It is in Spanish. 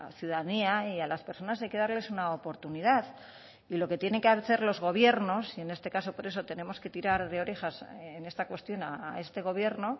ciudadanía y a las personas hay que darles una oportunidad y lo que tienen que hacer los gobiernos y en este caso por eso tenemos que tirar de orejas en esta cuestión a este gobierno